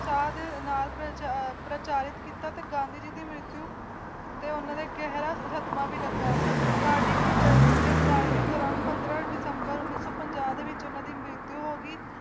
ਹਾਅ ਦਾ ਨਾਅਰਾ ਪ੍ਰਚੱਲਤ ਕੀਤਾ ਕਿ ਗਾਂਧੀ ਜੀ ਦੀ ਮਹੱਤਵ ਤੇ ਉਨ੍ਹਾਂ ਦੇ ਗਹਿਰਾ ਸਦਮਾ ਲੱਗਾ ਤਾਂ ਦਿਲ ਦੀ ਗ੍ਰਿਫਤਾਰੀ ਦੌਰਾਨ ਪੰਦਰਾਂ ਦਸੰਬਰ ਉਣੀ ਸੀ ਪੰਜਾਹ ਵਿਚ ਉਨ੍ਹਾਂ ਦੀ ਮੀਟਿੰਗ ਹੋਈ